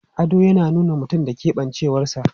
Ado yana nuna mutum da keɓancewarsa.